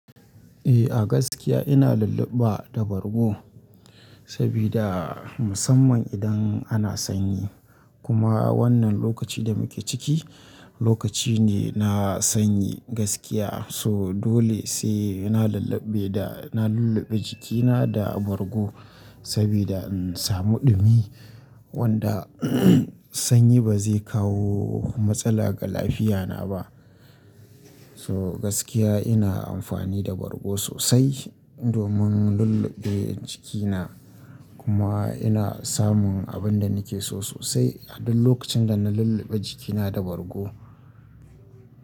Eh a gaskiya ina lulluɓa da bargo sabida musamman idan ana sanyi. Kuma wannan lokacin da muke ciki lokaci ne na sanyi gaskiya. So dole sai ina lulluɓe da, na lulluɓe jikina da bargo saboda in samu ɗumi wanda sanyi ba zai kawo matsala ga lafiyana ba. So gaskiya ina amfani da bargo sosai domin lulluɓe jikina. Kuma ina samun abin da nake so sosai a duk lokacin da na lulluɓe jikina da bargo.